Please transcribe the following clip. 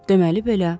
Deməli belə.